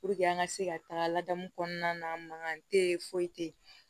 an ka se ka taga ladamu kɔnɔna na mankan tɛ yen foyi tɛ yen